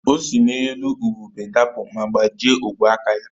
O si n’elu ubube dapụ ma gbajie ogwe aka ya